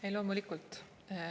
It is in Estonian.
Ei, loomulikult.